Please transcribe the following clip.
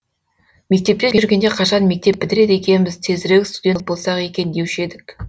мектепте жүргенде қашан мектепті бітіреді екенбіз тезірек студент болсақ екен деуші едік